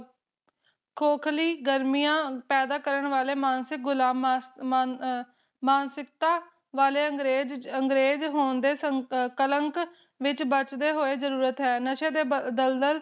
ਖੋਖ਼ਲੀ ਗਰਮੀਆਂ ਪੈਦਾ ਕਰਨ ਵਾਲੇ ਮਾਨਸਿਕ ਗੁਲਾਮਾਂ ਆ ਆ ਮਾਨ ਅ ਮਾਨਸਿਕਤਾ ਵਾਲੇ ਅੰਗਰੇਜ ਅੰਗਰੇਜ ਹੋਣ ਦੇ ਸੰਕ ਕਲੰਕ ਵਿਚ ਬਚਦੇ ਹੋਏ ਜਰੂਰਤ ਹੈ ਨਸ਼ੇ ਦੇ ਬ ਦਲਦਲ